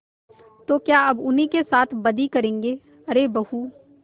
तो क्या अब उन्हीं के साथ बदी करेंगे अरे बहू